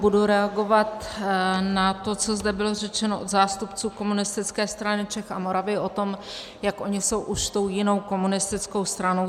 Budu reagovat na to, co zde bylo řečeno od zástupců Komunistické strany Čech a Moravy o tom, jak oni jsou už tou jinou komunistickou stranou.